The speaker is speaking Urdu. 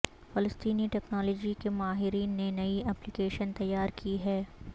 فلسطینی ٹیکنالوجی کے ماہرین نے نئی ایپلی کیشن تیار کی ہے